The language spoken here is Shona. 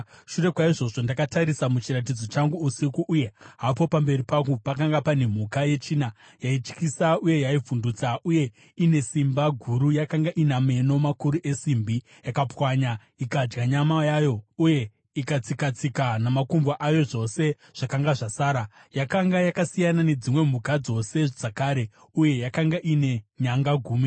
“Shure kwaizvozvo, ndakatarisa muchiratidzo changu usiku, uye hapo pamberi pangu pakanga pane mhuka yechina, yaityisa uye yaivhundutsa, uye ine simba guru. Yakanga ina meno makuru esimbi; yakapwanya ikadya nyama yayo uye ikatsika-tsika namakumbo ayo zvose zvakanga zvasara. Yakanga yakasiyana nedzimwe mhuka dzose dzakare, uye yakanga ine nyanga gumi.